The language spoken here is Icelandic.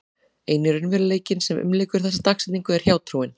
Eini raunveruleikinn sem umlykur þessa dagsetningu er hjátrúin.